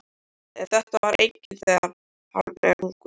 En þetta veit enginn þegar hann er ungur.